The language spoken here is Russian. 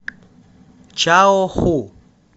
чаоху